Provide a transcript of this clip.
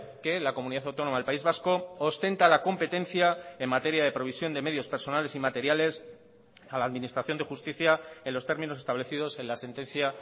que la comunidad autónoma del país vasco ostenta la competencia en materia de provisión de medios personales y materiales a la administración de justicia en los términos establecidos en la sentencia